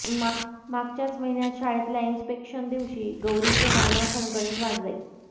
मागच्याच महिन्यात शाळेतल्या इन्स्पेक्शनदिवशी गौरीचं नाणं खणखणीत वाजलंय